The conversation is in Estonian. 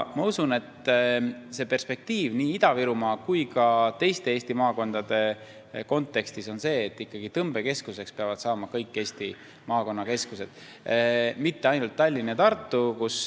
Ma usun, et perspektiiv nii Ida-Virumaa kui ka teiste Eesti maakondade kontekstis on see, et tõmbekeskuseks peavad saama ikkagi kõik Eesti maakonnakeskused, mitte ainult Tallinn ja Tartu.